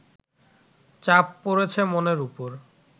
চাপ পড়েছে মনের উপর